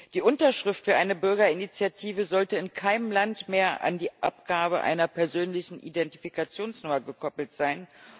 Die Unterschrift für eine Bürgerinitiative sollte in keinem Land mehr an die Abgabe einer persönlichen Identifikationsnummer gekoppelt sein.